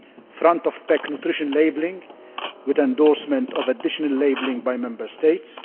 front of pack nutrition labelling with endorsement of additional labelling by Member States